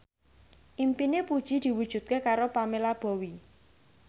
impine Puji diwujudke karo Pamela Bowie